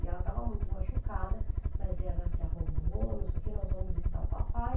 E ela estava muito machucada, mas ela se arrumou, não sei o que, nós vamos visitar o papai.